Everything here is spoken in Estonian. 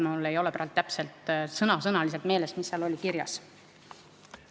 Mul ei ole sõna-sõnalt meeles, mis seal kirjas oli.